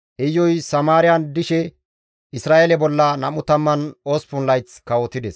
Iyuy Samaariyan dishe Isra7eele bolla 28 layth kawotides.